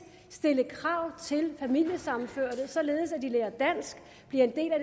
stille krav til familiesammenførte således at de lærer dansk bliver en del af